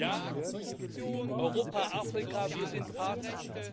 Ja Europa, Afrika, wir sind Partner.